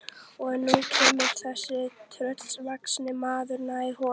Og nú kemur þessi tröllvaxni maður nær honum.